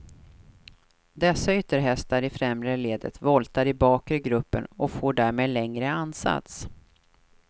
Dessa ytterhästar i främre ledet voltar i bakre gruppen och får därmed längre ansats.